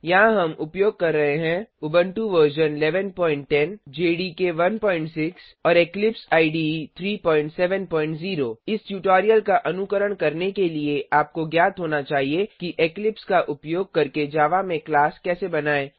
यहाँ हम उपयोग कर रहे हैं उबंटु वर्जन 1110 जेडीके 16 और इक्लिप्स इडे 370 इस ट्यूटोरियल का अनुकरण करने के लिए आपको ज्ञात होना चाहिए कि इक्लिप्स का उपयोग करके जावा में क्लास कैसे बनाएँ